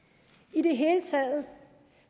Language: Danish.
i det hele taget